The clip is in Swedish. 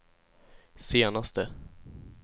senaste